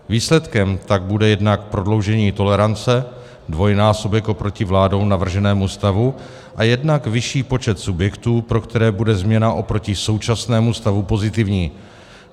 Výsledkem tak bude jednak prodloužení tolerance, dvojnásobek oproti vládou navrženému stavu, a jednak vyšší počet subjektů, pro které bude změna oproti současnému stavu pozitivní.